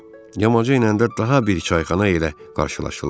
Yamacı enəndə daha bir çayxana ilə qarşılaşırlar.